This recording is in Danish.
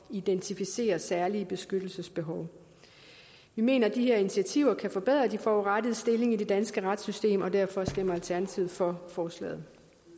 identificere særlige beskyttelsesbehov vi mener at de her initiativer kan forbedre de forurettedes stilling i det danske retssystem og derfor stemmer alternativet for forslaget